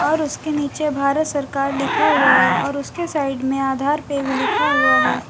और उसके नीचे भारत सरकार लिखा हुआ है और उसके साइड में आधार पे भी लिखा हुआ है।